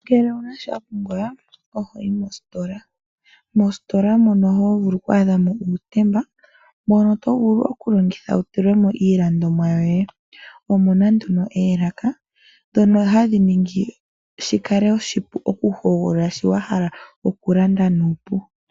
Ngele owuna sho wapumba ohoyi mositola ,moositola mono hovulu oku adhamo uutemba mbono tovulu okulongitha wu tulemo iilandomwa yoye . Omuna nduno oolaka ndho o hadhi ningi shikale oshipu oku hogolola shono wahala okulanda nuupu.